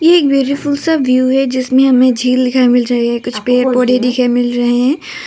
ये एक ब्यूटीफुल सा व्यू है जिसमें हमें झील दिखाई मिल रहे हैं कुछ पेड़ पौधे दिखाई मिल रहे हैं।